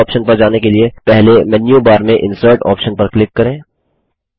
इस ऑप्शन पर जाने के लिए पहले मेन्यू बार में इंसर्ट ऑप्शन पर क्लिक करें